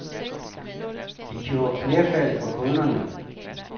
De gjorde knæfald for kunderne.